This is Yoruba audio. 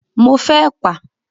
Mo fẹ́ ẹ̀pà.